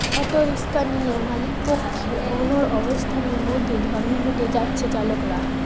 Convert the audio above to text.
autorickshaw নিয়ে মালিকপক্ষের অনড় অবস্থানের মধ্যেই ধর্মঘটে যাচ্ছে চালকরা